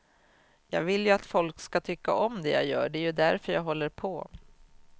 Jag vill ju att folk ska tycka om det jag gör, det är ju därför jag håller på.